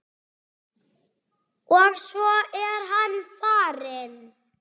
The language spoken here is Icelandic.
Og svo er hann farinn.